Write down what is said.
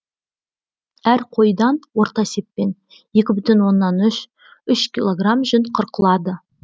әр қойдан орта есеппен екі бүтін оннан үш үш кг жүн қырқылады